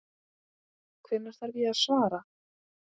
Hvenær þarf ég að svara?